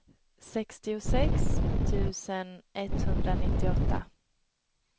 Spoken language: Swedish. sextiosex tusen etthundranittioåtta